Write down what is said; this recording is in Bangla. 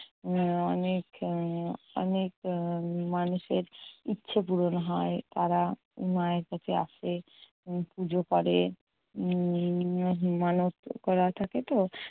মানে অনেক আহ অনেক আহ মানুষের ইচ্ছে পূরণ হয়। তারা মায়ের কাছে আসে, উম পুজো করে। উম মানত করা থাকেতো।